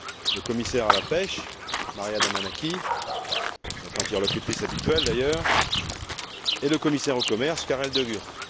le commissaire à la pêche, Maria Damanaki, notre interlocutrice habituelle d'ailleurs, et le commissaire au commerce, Karel De Gucht.